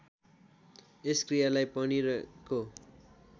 यस क्रियालाई पनिरको